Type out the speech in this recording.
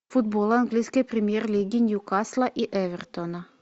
футбол английской премьер лиги ньюкасла и эвертона